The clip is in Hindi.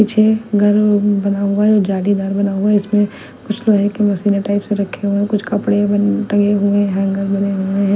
पीछे घर बना हुआ है जालीदार बना हुआ है इसमें कुछ लोहे की मशीने टाइप से रखे हुए कुछ कपड़े बने टंगे हुए हैंगर बने हुए हैं।